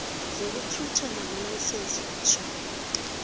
zokuthutha amalayisense wokutjhayela